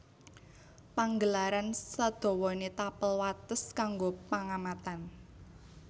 Panggelaran sadawané tapel wates kanggo pengamatan